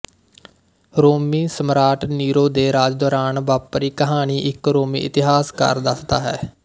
ਰੋਮੀ ਸਮਰਾਟ ਨੀਰੋ ਦੇ ਰਾਜ ਦੌਰਾਨ ਵਾਪਰੀ ਕਹਾਣੀ ਇੱਕ ਰੋਮੀ ਇਤਿਹਾਸਕਾਰ ਦੱਸਦਾ ਹੈ